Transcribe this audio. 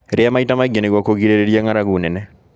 Rĩa maĩ ta maĩ ngĩ nĩguo kũgirĩrĩrĩa ng'aragu nene